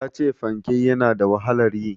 Ta ce fanke ya na da wahalar yi.